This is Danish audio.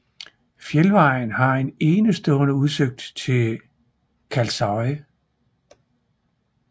Fjeldvejen har en enestående udsigt til Kalsoy